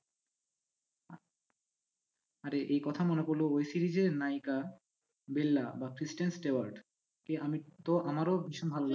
আরে এই কথা মনে পড়ল ওই series এর নায়িকা বেল্লা বা ক্রিস্টেন স্টেইয়ার্ট কে আমি তো আমারও ভীষণ ভালো লাগে জানেন।